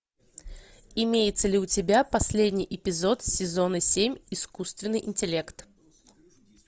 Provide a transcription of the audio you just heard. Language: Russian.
имеется ли у тебя последний эпизод сезона семь искусственный интеллект